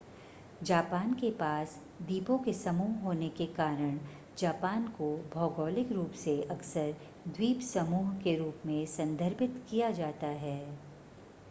Japan के पास द्वीपों के समूह होने के कारण जापान को भौगोलिक रूप से अक्सर द्वीपसमूह के रूप में संदर्भित किया जाता है